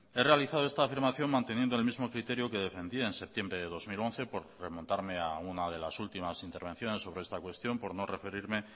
he realizado esta afirmación manteniendo el mismo criterio que defendía en septiembre de dos mil once por remontarme a unas de las últimas intervenciones sobre esta cuestión por no referirme